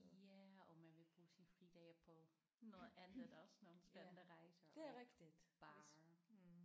Ja og man vil bruge sine fridage på noget andet også nogle spændende rejser bare